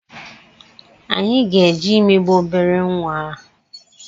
anyị ga-eje imegbu obere nwa a